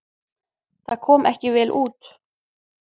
Það kom ekki vel út.